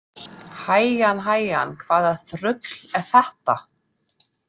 Hægan hægan, hvaða þrugl er þetta?